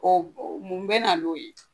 O mun be na n'o ye?